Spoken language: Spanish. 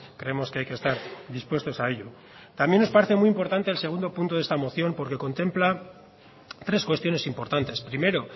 creemos que hay que estar dispuestos a ello también nos parece muy importante el segundo punto de esta moción porque contempla tres cuestiones importantes primero